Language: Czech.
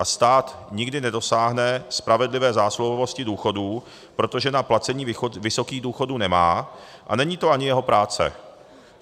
A stát nikdy nedosáhne spravedlivé zásluhovosti důchodů, protože na placení vysokých důchodů nemá a není to ani jeho práce.